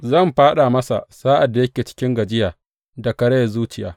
Zan fāɗa masa sa’ad da yake cikin gajiya da karayar zuciya.